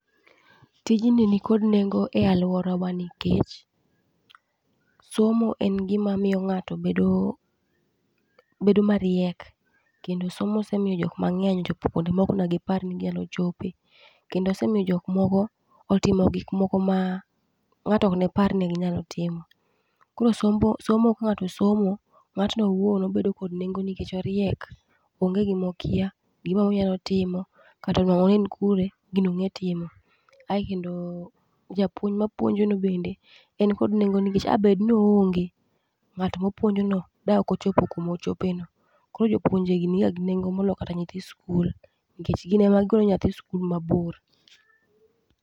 Tijni nikod nengo e aluorawa nikech somo en gima miyo ng'ato bedo bedo mariek kendo somo osemiyo jok mang'eny ochopo kuonde mane ok gipar ni ginyalo chope. Kendo somo osemiyo jok moko otimo gik mane ok gipar ni ginyalo timo. Koro somo ka ng'ato osomo, ng'atno owuon obedo kod nengo nikech oriek, onge gima okia, gimoro amora onyalo timo kata onuang'ore ni en kure, gino ong'e timo. Ae kendo japuonj mapuonjo no bende en kod nengo nikech a bed ni oonge ng'at mopuonjono daokochopo kuma ochopeno. Koro jopuonjegi niga gi nengo moloyo kata nyithi sikul nikech gin ema gigolo nyathi sikul mabor.